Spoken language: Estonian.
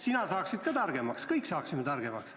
Sina saaksid ka targemaks, kõik saaksime targemaks.